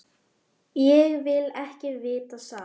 Ég vil ekki vita það.